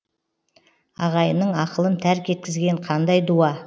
ағайынның ақылын тәрк еткізген қандай дуа